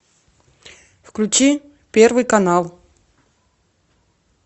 включи первый канал